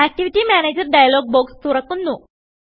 activity Managerഡയലോഗ് box തുറക്കുന്നു